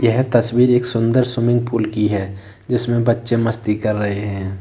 यह तस्वीर एक सुंदर स्विमिंग पूल की है जिसमें बच्चे मस्ती कर रहे हैं।